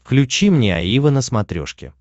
включи мне аива на смотрешке